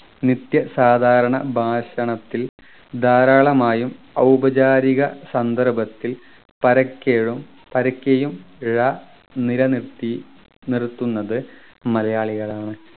നിത്യ സാധാരണ ഭാഷണത്തിൽ ധാരാളമായും ഔപചാരിക സന്ദർഭത്തിൽ പരക്കെഴും പരക്കെയും ഴ നിലനിർത്തി നിർത്തുന്നത് മലയാളികളാണ്